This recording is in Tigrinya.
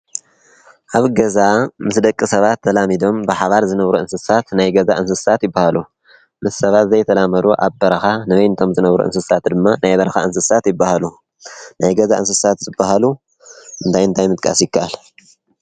ኣብ ገዛ ምስ ደቂ ሰባት ተላሚዶም ብሓባር ዝነብሩ እንስሳት ናይ ገዛ እንስሳት ይበሃሉ፡፡ ምስ ሰባት ዘይተላመዱ ኣብ በረኻ ንበይኖም ዝነብሩ እንስሳት ድማ ናይ በረኻ እንስሳ ይበሃሉ፡፡ ናይ ገዛ እንስሳት ዝበሃሉ እንታይ እንታይ ምጥቃስ ይከኣል?